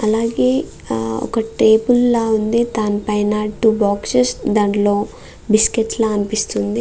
అలాగే ఆ ఒక టేబుల్ లా ఉంది. దాని పైన టూ బాక్సస్ దాంట్లో బిస్కెట్స్ లా అనిపిస్తుంది.